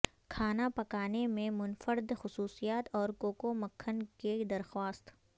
کھانا پکانے میں منفرد خصوصیات اور کوکو مکھن کی درخواست